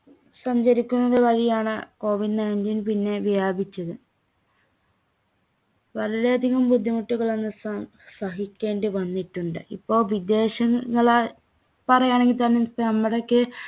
സഞ്ചരിക്കുന്നത് വഴിയാണ് covid nineteen പിന്നെ വ്യാപിച്ചത്. വളരെയധികം ബുദ്ധിമുട്ടുകളാണ് സ~സഹിക്കേണ്ടിവന്നിട്ടുണ്ട്. ഇപ്പോ വിദേശങ്ങളാൽ പറയാണെങ്കിൽത്തന്നെ നമ്മുടെയൊക്കെ